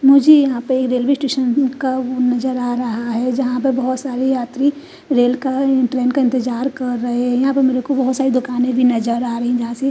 मुझे यहां पे रेलवे स्टेशन का नज़र आ रहा है जहा पर बोहोत सारे यात्री रेल का ट्रैन का इंतज़ार कर रहे है यहां पे मुझे बोहोत सारी दुकाने भी नज़र आ रही है।